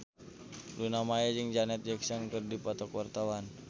Luna Maya jeung Janet Jackson keur dipoto ku wartawan